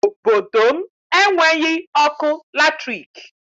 Obodo m enweghị ọkụ latriki